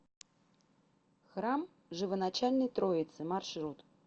храм живоначальной троицы маршрут